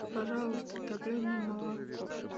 пожалуйста топленое молоко